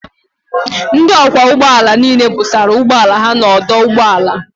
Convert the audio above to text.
Ndị ọkwọ ụgbọ ala niile busara ụgbọala ha n'ọdụ ụgbọ ala